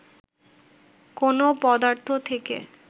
কোন পদার্থ থেকে